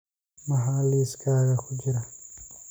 maxaa liiskayga ku jira